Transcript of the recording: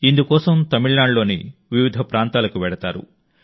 ఇందుకోసం తమిళనాడులోని వివిధ ప్రాంతాలకు వెళతారు